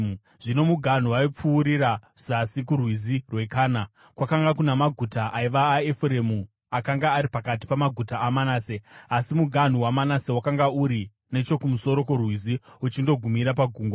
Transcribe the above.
Zvino muganhu waipfuurira zasi kuRwizi rweKana. Kwakanga kuna maguta aiva aEfuremu akanga ari pakati pamaguta aManase, asi muganhu waManase wakanga uri nechokumusoro kworwizi uchindogumira pagungwa.